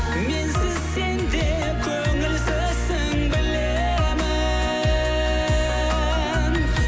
менсіз сен де көңілсізсің білемін